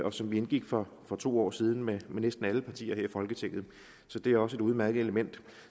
og som vi indgik for to år siden med næsten alle partier her i folketinget så det er også et udmærket element